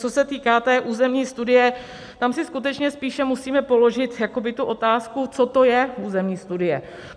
Co se týká té územní studie, tam si skutečně spíše musíme položit jakoby tu otázku, co to je územní studie.